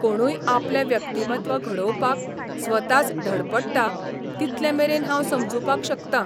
कोणूय आपलें व्यक्तिमत्व घडोवपाक स्वताच धडपडटा तितले मेरेन हांव समजुपाक शकतां.